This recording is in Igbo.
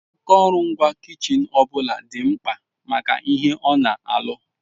Akụrụngwa kichin ọ bụla dị mkpa maka ihe ona alụ.